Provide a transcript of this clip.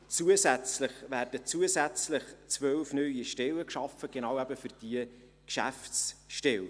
Bereits ab 2020 werden zusätzlich zwölf neue Stellen geschaffen für genau diese Geschäftsstelle.